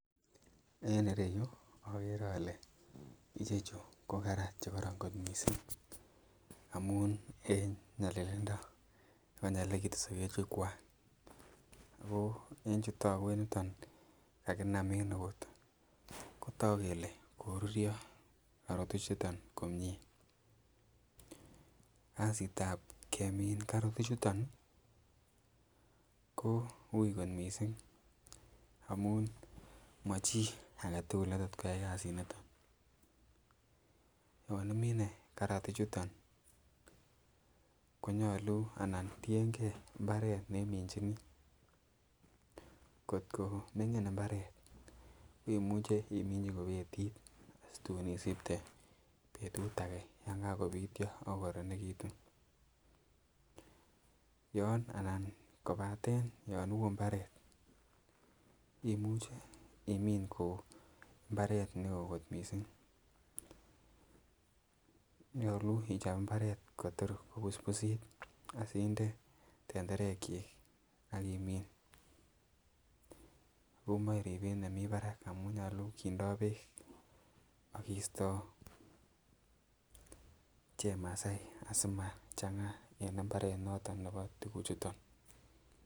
En ireyuu okere ole ichechu ko karat chekoron kot missing amun en nyolillindo nekonyokilekitun soket chuu kwak en chuu toku en yuton kakinam en eut kotoku kele koruryo karot ichuton komie. Kasitab kemin karot ichutoni ko ui kot missing amun mo chii agetukul netot koyai kasit niton, yon imine karat ichuton konyolu anan tiyengee imbaret neminginii kotko mingin imbaret imuche iminchi ko betit situn isipte betut age yon kokopityo ak kokoronektun , yon anan kopaten yon woo imbaret imuche imin ko imbaret neo kot missing. Nyolu ichob imbaret Kotor kobusbusit aside tenderek chik ak imin, omoi ribet nemii barak amun nyolu kindo kindo beek ak koisto chemasai asimachanga en imbaret noton nebo tukuk chuton.